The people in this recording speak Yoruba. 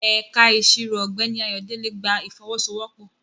Ẹ̀ka Ìṣirò Ọ̀gbẹ́ni Ayodele gba ìfọwọ́sowọ́pọ̀